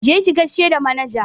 Je ki gaishe da manaja!